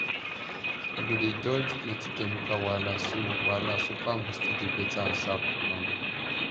you go dey dodge plenty chemical wahala so wahala so farm go still dey beta and sharp um